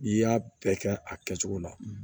N'i y'a bɛɛ kɛ a kɛcogo la